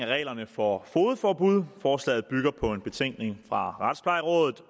reglerne for fogedforbud og forslaget bygger på en betænkning fra retsplejerådet